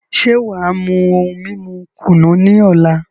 Ṣe wàá mú ohun mímu kùnú ní ọ̀la?